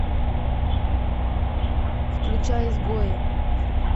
включай изгои